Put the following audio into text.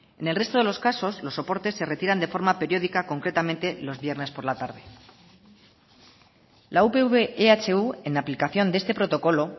en el resto de los casos los soportes se retiran de forma periódica concretamente los viernes por la tarde la upv ehu en aplicación de este protocolo